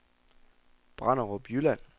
Branderup Jylland